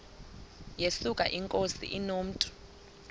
yesuka inkosi inomntu